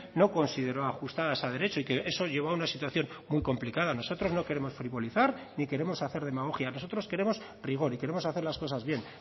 no consideró ajustadas a derecho y que eso llevo a una situación muy complicada nosotros no queremos frivolizar ni queremos hacer demagogia nosotros queremos rigor y queremos hacer las cosas bien